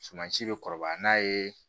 Sumansi bɛ kɔrɔba n'a ye